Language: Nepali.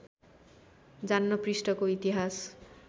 जान्न पृष्ठको इतिहास